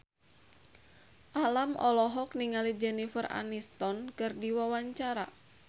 Alam olohok ningali Jennifer Aniston keur diwawancara